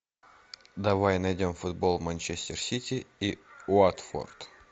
давай найдем футбол манчестер сити и уотфорд